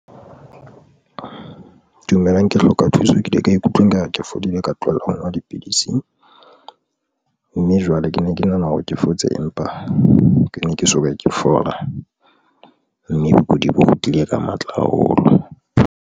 Dumelang ke hloka thuso, ke ile ka ikutlwa ekare ke fodile. Ka tlohela ho nwa dipidisi mme jwale ke ne ke nahana hore ke fotse, empa ke ne ke soka ke fola mme bokudi bo kgutlile ka matla haholo.